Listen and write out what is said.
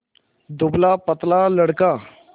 दुबलापतला लड़का